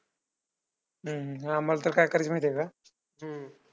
हम्म हा आम्हाला तर काय करायचं माहितीये का?